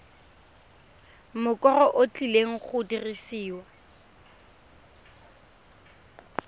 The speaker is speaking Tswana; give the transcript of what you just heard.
mokoro o tlileng go dirisiwa